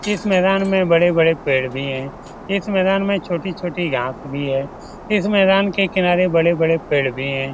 इस मैदान में बड़े-बड़े पेड़ भी हैं इस मैदान में छोटी-छोटी घास भी है इस मैदान के किनारे बड़े-बड़े पेड़ भी है।